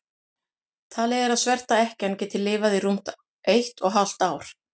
talið er að svarta ekkjan geti lifað í rúmt eitt og hálft ár